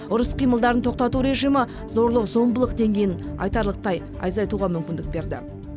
ұрыс қимылдарын тоқтату режимі зорлық зомбылық деңгейін айтарлықтай айзайтуға мүмкіндік берді